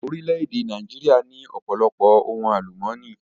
Orílẹ̀-èdè Nàìjíríà ní ọ̀pọ̀lọpọ̀ ohun àlùmọ́nì.